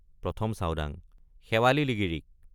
১ম চাওডাঙ—শেৱালি লিগিৰীক।